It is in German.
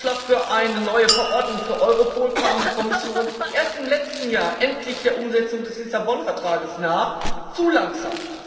Mit dem Vorschlag für eine neue Verordnung für Europol kam die Kommission erst im letzten Jahr endlich der Umsetzung des Lissabon Vertrags nahe zu langsam!